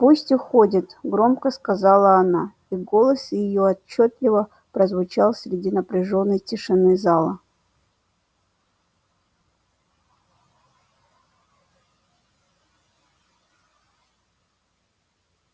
пусть уходит громко сказала она и голос её отчётливо прозвучал среди напряжённой тишины зала